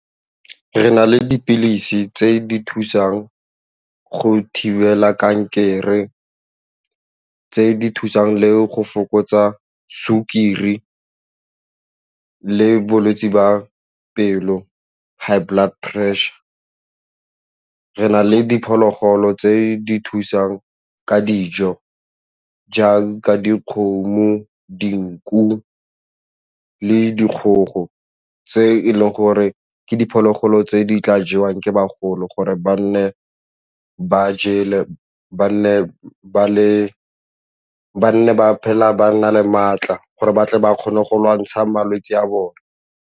Re na le dipilisi tse di thusang go thibela kankere, tse di thusang le go fokotsa sukiri le bolwetse ba pelo high blood pressure. Re na le diphologolo tse di thusang ka dijo jaaka dikgomo, dinku le dikgogo tse e leng gore ke diphologolo tse di tla jewang ke bagolo gore ba nne ba jele, ba nne ba phela ba nna le maatla gore batle ba kgone go lwantsha malwetse a bone.